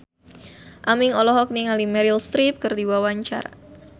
Aming olohok ningali Meryl Streep keur diwawancara